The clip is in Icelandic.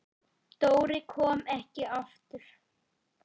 Dóri kom ekki aftur.